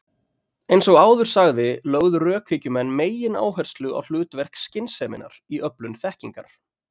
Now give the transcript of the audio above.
Eins og áður sagði lögðu rökhyggjumenn megináherslu á hlutverk skynseminnar í öflun þekkingar.